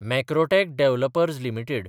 Macrotech Developers limited